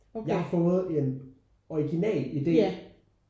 Jeg har fået en original idé